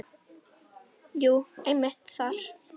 Jú, einmitt þar.